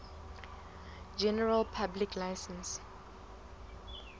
general public license